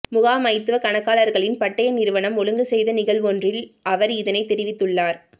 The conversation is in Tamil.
முகாமைத்துவ கணக்காளர்களின் பட்டய நிறுவனம் ஒழுங்கு செய்த நிகழ்வொன்றில் அவர் இதனைத் தெரிவித்துள்ளார்